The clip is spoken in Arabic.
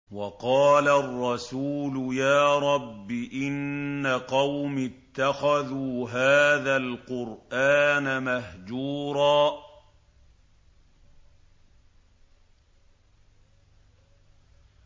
وَقَالَ الرَّسُولُ يَا رَبِّ إِنَّ قَوْمِي اتَّخَذُوا هَٰذَا الْقُرْآنَ مَهْجُورًا